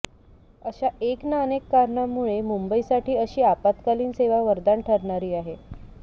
अशा एक ना अनेक कारणांमुळे मुंबईसाठी अशी आपत्कालीन सेवा वरदान ठरणारी आहे